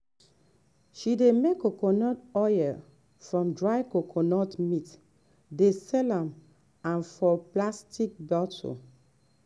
she dey make coconut oil from dried coconut meat dey sell am for plastic bottle.